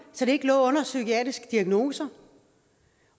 så det ikke lå under psykiatriske diagnoser